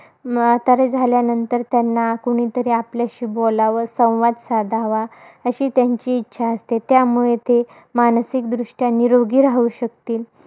म्हातारे झाल्यानंतर त्यांना कुणीतरी आपल्याशी बोलावं, संवाद साधावा, अशी त्यांची इच्छा असते. त्यामुळे ते मानसिकदृष्ट्या निरोगी राहू शकतील,